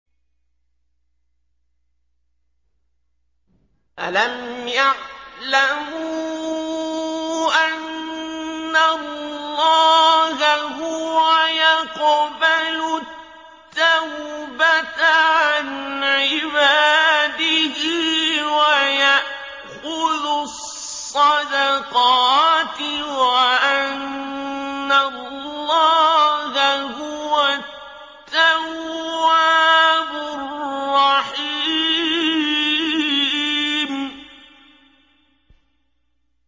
أَلَمْ يَعْلَمُوا أَنَّ اللَّهَ هُوَ يَقْبَلُ التَّوْبَةَ عَنْ عِبَادِهِ وَيَأْخُذُ الصَّدَقَاتِ وَأَنَّ اللَّهَ هُوَ التَّوَّابُ الرَّحِيمُ